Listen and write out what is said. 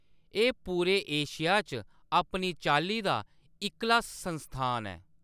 एह्‌‌ पूरे एशिया च अपनी चाल्ली दा इक्कला संस्थान ऐ।